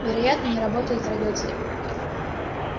вероятно не работает радиоцепь